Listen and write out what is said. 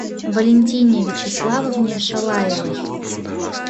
валентине вячеславовне шалаевой